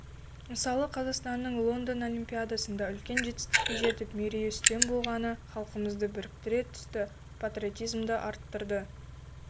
мысалы қазақстанның лондон олимпиадасында үлкен жетістікке жетіп мерейі үстем болғаны халқымызды біріктіре түсті патриотизмді арттырды